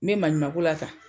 Me maɲuman ko la tan.